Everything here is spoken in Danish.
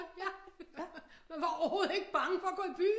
Man var overhovedet ikke bange for at gå i byen